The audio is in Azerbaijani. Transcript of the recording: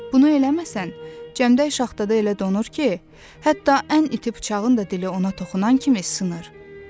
Bunu eləməsən, cəmdək şaxtada elə donur ki, hətta ən iti bıçağın da dili ona toxunan kimi sınır.